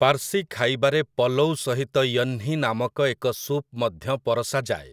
ପାର୍ସୀ ଖାଇବାରେ ପଲଉ ସହିତ ୟହ୍ନି ନାମକ ଏକ ସୁପ୍ ମଧ୍ୟ ପରଷାଯାଏ ।